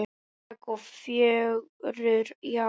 Spræk og fjörug, já.